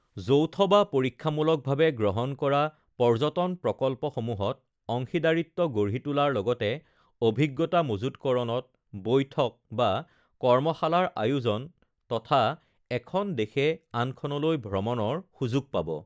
যৌথ বা পৰীক্ষামূলকভাবে গ্ৰহণ কৰা পৰ্যটন প্ৰকল্পসমূহত অংশীদাৰিত্ব গঢ়ি তোলাৰ লগতে অভিজ্ঞতা মজুতকৰণত বৈঠক বা কৰ্মশালাৰ আয়োজন তথা এখন দেশে আনখনলৈ ভ্ৰমণৰ সুযোগ পাব